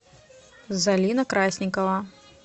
залина красникова